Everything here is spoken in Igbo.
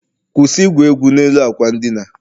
kwụsị igwu egwu n'elu akwa ndina